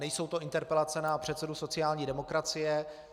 Nejsou to interpelace na předsedu sociální demokracie.